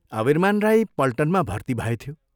अवीरमान राई पल्टनमा भर्ती भएथ्यो।